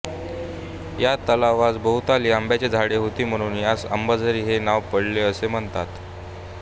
या तलावासभोवताली आंब्याची झाडे होती म्हणून यास अंबाझरी हे नाव पडले असे म्हणतात